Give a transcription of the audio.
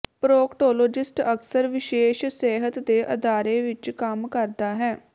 proctologist ਅਕਸਰ ਵਿਸ਼ੇਸ਼ ਸਿਹਤ ਦੇ ਅਦਾਰੇ ਵਿੱਚ ਕੰਮ ਕਰਦਾ ਹੈ